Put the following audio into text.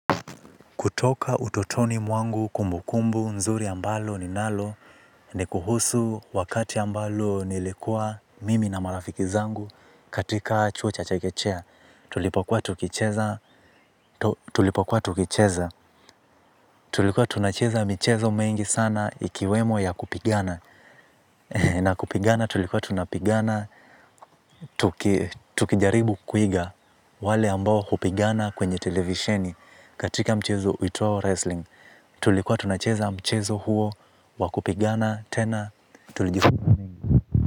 Kutoka utotoni mwangu kumbukumbu nzuri ambalo ninalo ni kuhusu wakati ambao nilikuwa mimi na marafiki zangu katika chuo cha chekechea. Tulipokua tukicheza. Tulipokua tukicheza. Tulikuwa tunacheza michezo mengi sana ikiwemo ya kupigana. Na kupigana tulikuwa tunapigana. Tukijaribu kuiga wale ambao hupigana kwenye televisheni katika mchezo uitwao wrestling. Tulikuwa tunacheza mchezo huo wa kupigana tena tulijifunza mengi.